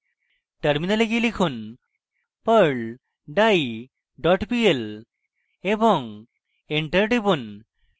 terminal গিয়ে লিখুন: perl die dot pl এবং enter টিপুন